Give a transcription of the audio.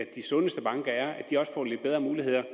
de sundeste banker får lidt bedre muligheder